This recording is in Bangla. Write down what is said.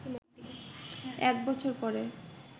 এক বছর পরে